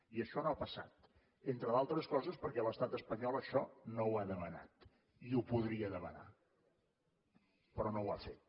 i això no ha passat entre d’altres coses perquè l’estat espanyol això no ho ha demanat i ho podria demanar però no ho ha fet